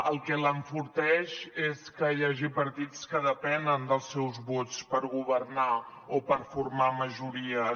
el que l’enforteix és que hi hagi partits que depenen dels seus vots per governar o per formar majories